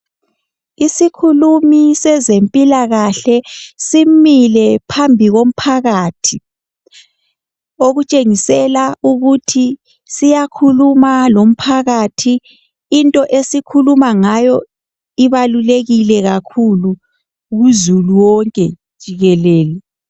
Isikhulumi sezempilakahle simile phambi komphakathi okutshengisela ukuthi siyakhuluma lomphakathi. Into esikhuluma ngayo ibalulekile kakhulu kuzulu wonke jikelele.